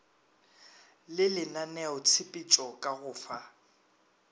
le lenaneotshepetšo ka go fa